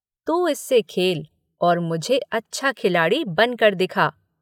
तू इससे खेल और मुझे अच्छा खिलाड़ी बनकर दिखा।